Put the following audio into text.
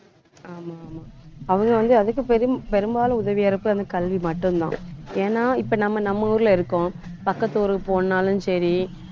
ஆமா, ஆமா அவங்க வந்து அதுக்கு பெரும்~ பெரும்பாலும் உதவியா இருப்பது அந்த கல்வி மட்டும்தான் ஏன்னா இப்ப நம்ம நம்ம ஊர்ல இருக்கோம் பக்கத்து ஊருக்கு போனாலும் சரி